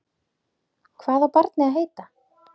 Hvað á barnið að heita?